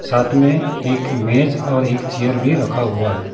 साथ में एक मेज और एक चेयर भी रखा हुआ है।